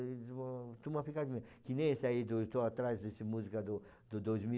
Que nem esse aí, estou atrás dessa música do do dois mil